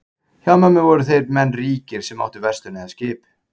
Hjá mömmu voru þeir menn ríkir sem áttu verslun eða skip.